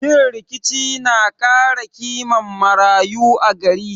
Yin rikici na kara kiman marayu a gari